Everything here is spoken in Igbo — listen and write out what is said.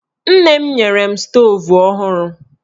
Nne m nyere m stoovu ọhụrụ.